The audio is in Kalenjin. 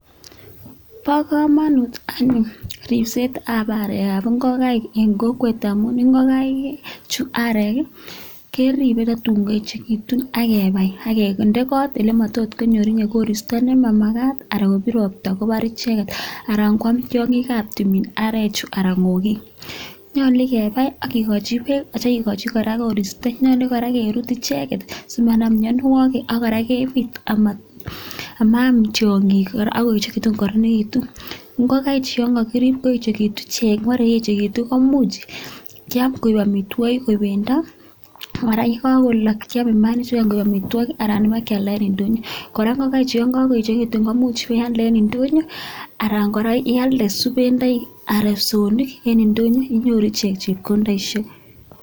Bo komonut anyun ripsetab arekab ng'okaik en kokwet amun ng'okaik chu arek keripe totun koechekitu akebai aketende kot elematot konyor koristo nemamakat anan kobir ropta kobar icheket ana kwam tiong'ikab timin arechu ana ng'okik nyolu kebai akikochi beek asikikochi kora koristo nyolu kora kerut icheket simanam mianwokik akora kebit amaam tiong'ik kora akoechekitu kokoronekitu, ng'okaichu yongokirib koechekitu komuch kyam koik amitwok koik bendo akora yekokolok kyome maainichukan koik amitwokik alan ibakyalda en indonyo, kora ng'okaichu yongokoechekitu komuch iwealde en ndonyon alan kora ialde subenoik anan psoonik en ndonyo inyoru ichek chepkondoisiek.